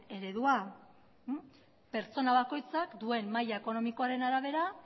eredua pertsona bakoitzak duen maila ekonomikoaren arabera